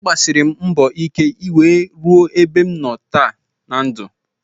Agbasiri m mbọ ike nwee ruo ebe m nọ taa na ndụ